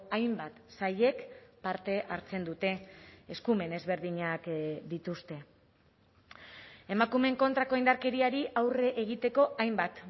hainbat sailek parte hartzen dute eskumen ezberdinak dituzte emakumeen kontrako indarkeriari aurre egiteko hainbat